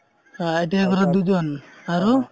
ITI কৰা দুজন আৰু